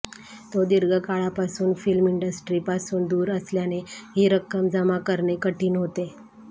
तो दीर्घकाळापासून फिल्म इंडस्ट्रीपासून दूर असल्याने ही रक्कम जमा करणेकठीण होते